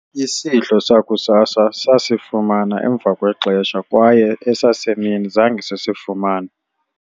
isidlo sakusasa sasifumana emva kwexesha kwaye esasemini zange sisifumane